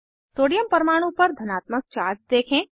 sodium परमाणु पर धनात्मक चार्ज देखें